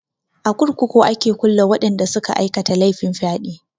A kurkuku a ke kulle waɗanda suka aikata laifin fyaɗe.